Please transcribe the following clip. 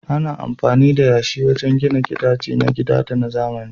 Ana amfani da yashi wajen gina gidaje na gida da na zamani.